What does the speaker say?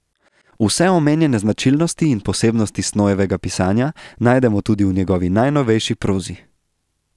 Vse omenjene značilnosti in posebnosti Snojevega pisanja najdemo tudi v njegovi najnovejši prozi.